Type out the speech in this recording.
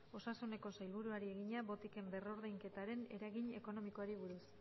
osasuneko sailburuari egina botiken berrordainketaren eragin ekonomikoari buruz